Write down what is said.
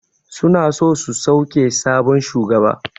Suna so su sauke sabon shugaba.